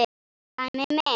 Sæmi minn.